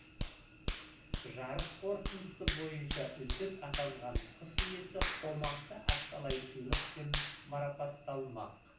жарыс қорытындысы бойынша үздік атанған құс иесі қомақты ақшалай сыйлықпен марапатталмақ